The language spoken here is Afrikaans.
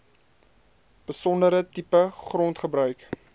besondere tipe grondgebruik